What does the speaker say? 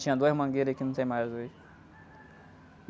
Tinha duas mangueiras que não tem mais hoje.